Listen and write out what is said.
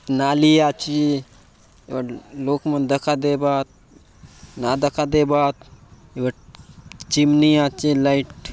नाली आचे ये बाटे लोग मन दखा देबा आत ना दखा देबा आतचिमनी आचे लाइट--